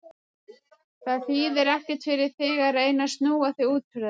Það þýðir ekkert fyrir þig að reyna að snúa þig út úr þessu.